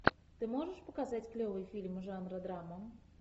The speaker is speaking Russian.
ты можешь показать клевые фильмы жанра драма